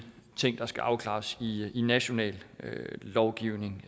ting der skal afklares i i national lovgivning